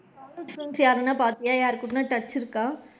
College friends யாருன்னா பாத்தியா யார் கூடன்னா touch இருக்கா?